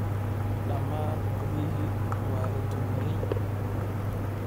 Dhammaan guryihii waa la dumiyey.